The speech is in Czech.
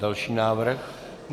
Další návrh.